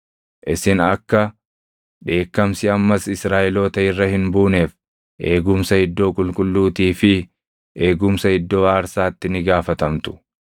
“Isin akka dheekkamsi ammas Israaʼeloota irra hin buuneef eegumsa iddoo qulqulluutii fi eegumsa iddoo aarsaatti ni gaafatamtu.